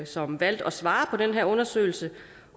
som valgte at svare på den her undersøgelse